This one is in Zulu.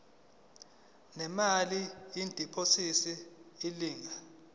ngemali yediphozithi elingana